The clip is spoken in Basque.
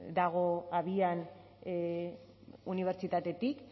dago abian unibertsitatetik